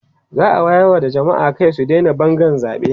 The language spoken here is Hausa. za'a wayar wa jamma'a Kai su Daina Bangan zaɓe